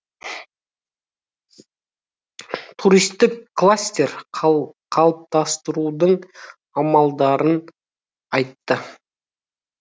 туристік кластер қалыптастырудың амалдарын айтты